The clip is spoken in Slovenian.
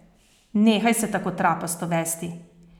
Nehaj se tako trapasto vesti.